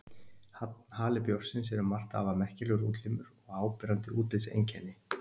Hali bjórsins er um margt afar merkilegur útlimur og áberandi útlitseinkenni.